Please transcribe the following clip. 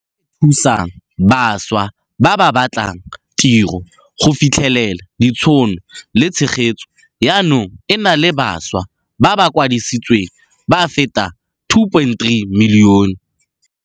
E e thusang bašwa ba ba batlang tiro go fitlhelela ditšhono le tshegetso jaanong e na le bašwa ba ba kwadisitsweng ba feta 2.3 milione.